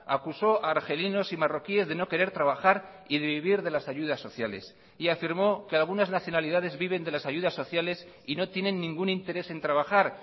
acusó a argelinos y marroquíes de no querer trabajar y de vivir de las ayudas sociales y afirmó que algunas nacionalidades viven de las ayudas sociales y no tienen ningún interés en trabajar